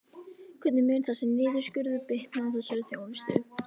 Hvernig mun þessi niðurskurður bitna á þessari þjónustu?